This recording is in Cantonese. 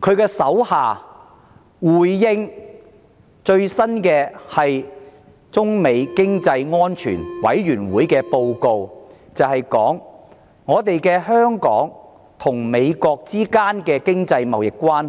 她的下屬在回應美中經濟與安全委員會的最新報告時，指出香港與美國之間的經濟貿易關